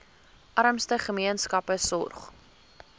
armste gemeenskappe sorg